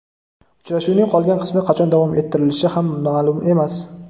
Uchrashuvning qolgan qismi qachon davom ettirilishi ham ma’lum emas.